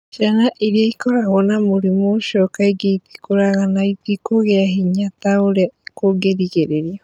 Ciana iria ikoragwo na mũrimũ ũcio kaingĩ itikũraga na itikũgĩa hinya ta ũrĩa kũngĩrĩgĩrĩirũo.